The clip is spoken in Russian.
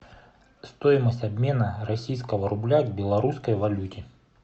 стоимость обмена российского рубля к белорусской валюте